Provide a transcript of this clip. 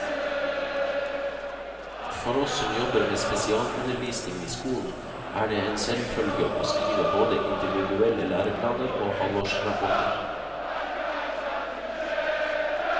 For oss som jobber med spesialundervisning i skolen, er det en selvfølge å skrive både individuelle læreplaner og halvårsrapporter.